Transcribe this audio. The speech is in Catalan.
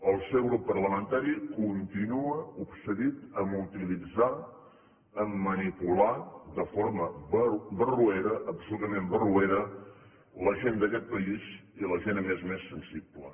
el seu grup parlamentari continua obsedit a utilitzar a manipular de forma barroera absolutament barroera la gent d’aquest país i la gent a més a més sensible